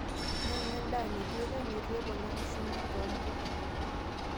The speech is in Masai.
Nyang'u endaa neitueirag, neitu eponari shumbi too mpuka.